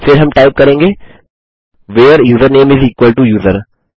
फिर हम टाइप करेंगे where username is equal to user